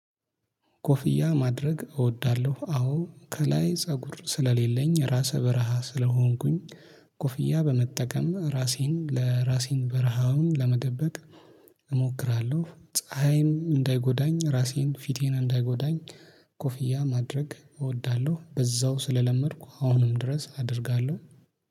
ኮፍያ ማድረግ እወዳለሁ። አዎ ከላይ ፀጉር ስለሌለኝ ራሰ በረሃ ስለሆንኩኝ ኮፍያ በመጠቀም ራሴን ለራሴን በረሃውን ለመደበቅ እሞክራለሁ። ፀሀይን እንዳይጎዳኝ ራሴን ፊቴን እንዳይጎዳኝ ኮፍያ ማድረግ እወዳለሁ። አዎ ከላይ ፀጉር ስለሌለኝ ራሰ በረሃ ስለሆንኩኝ ኮፍያ በመጠቀም ራሴን ለራሴን በረሃውን ለመደበቅ እሞክራለሁ። ፀሀይን እንዳይጎዳኝ ራሴን ፊቴን እንዳይጎዳኝ